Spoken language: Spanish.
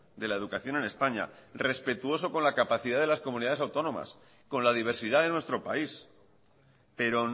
de la educación en españa respetuoso con la capacidad de las comunidades autónomas con la diversidad de nuestro país pero